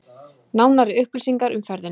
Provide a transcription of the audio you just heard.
Nánari upplýsingar um ferðina